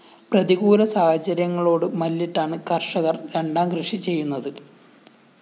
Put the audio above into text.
പ്രതികൂല സാഹചര്യങ്ങളോട് മല്ലിട്ടാണ് കര്‍ഷകര്‍ രണ്ടാംകൃഷി ചെയ്യുന്നത്